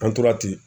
An tora ten